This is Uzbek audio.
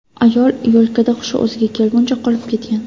Ayol yo‘lkada hushi o‘ziga kelguncha qolib ketgan.